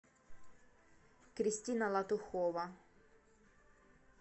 кристина латухова